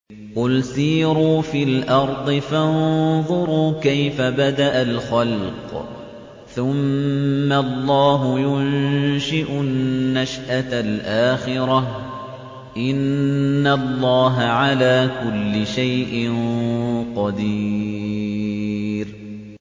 قُلْ سِيرُوا فِي الْأَرْضِ فَانظُرُوا كَيْفَ بَدَأَ الْخَلْقَ ۚ ثُمَّ اللَّهُ يُنشِئُ النَّشْأَةَ الْآخِرَةَ ۚ إِنَّ اللَّهَ عَلَىٰ كُلِّ شَيْءٍ قَدِيرٌ